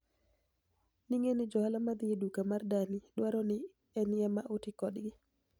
nig'eniy johala madhi e duka mar danii, dwaro nii eni ema oti kodgi.